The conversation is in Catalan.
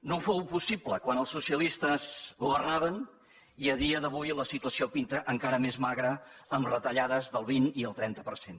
no fou possible quan els socialistes governaven i a dia d’avui la situació pinta encara més magra amb retallades del vint i el trenta per cent